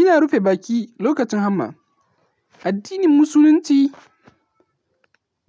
Ina rufe baki lokacin hamma. Addinin Musulunci